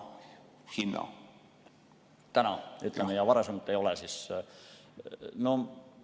Kas teevad seda täna, ütleme siis, ja varasemalt ei ole seda teinud?